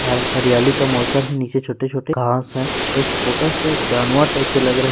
अ-हरियाली का मौसम है निचे छोटे छोटे घास है एक छोटा सा जानवर टाइप सा लग रहा--